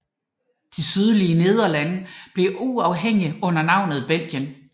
De sydlige Nederlande blev uafhængige under navnet Belgien